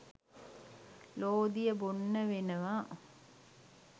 ලෝදිය බොන්න වෙනවා